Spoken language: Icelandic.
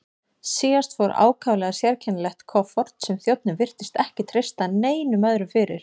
Síðast fór ákaflega sérkennilegt kofort sem þjónninn virtist ekki treysta neinum öðrum fyrir.